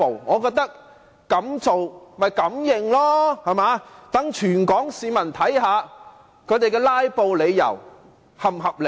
我覺得敢做便要敢認，讓全港市民看看他們"拉布"的理由是否合理。